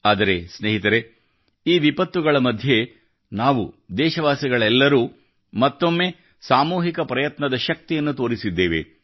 ಆದರೆ ಸ್ನೇಹಿತರೇ ಈ ವಿಪತ್ತುಗಳ ಮಧ್ಯೆ ನಾವು ದೇಶವಾಸಿಗಳೆಲ್ಲರೂ ಮತ್ತೊಮ್ಮೆ ಸಾಮೂಹಿಕ ಪ್ರಯತ್ನದ ಶಕ್ತಿಯನ್ನು ತೋರಿಸಿದ್ದೇವೆ